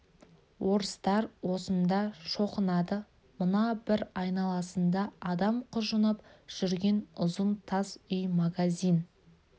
орыстар осында шоқынады мына бір айналасында адам құжынап жүрген ұзын тас үй магазин